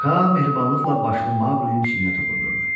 Ka mehribanlıqla başını Maqlinin çinə toxundurdu.